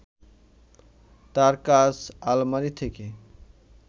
তার কাজ আলমারি থেকে